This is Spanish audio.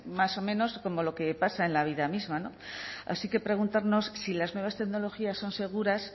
más o menos como lo que pasa en la vida misma así que preguntarnos si las nuevas tecnologías son seguras